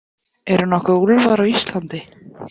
Eru nokkuð úlfar á Íslandi?